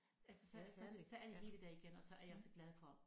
Altså så så så er det hele der igen og så er jeg så glad for